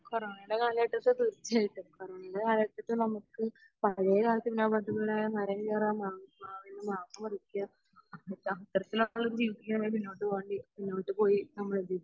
കോറോണയുടെ കാലഘട്ടത് തീർച്ചയായിട്ടും കോറോണയുടെ കാലഘട്ടത്തിൽ നമുക്ക് പഴയ മരം കേറാം മാവ് മാവിൽ നിന്ന് മാങ്ങാ പറിക്കാം